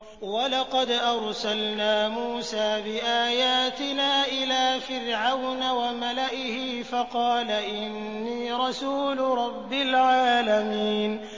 وَلَقَدْ أَرْسَلْنَا مُوسَىٰ بِآيَاتِنَا إِلَىٰ فِرْعَوْنَ وَمَلَئِهِ فَقَالَ إِنِّي رَسُولُ رَبِّ الْعَالَمِينَ